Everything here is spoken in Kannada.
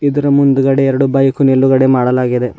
ಇದರ ಮುಂದ್ಗಡೆ ಎರಡು ಬೈಕು ನಿಲುಗಡೆ ಮಾಡಲಾಗಿದೆ.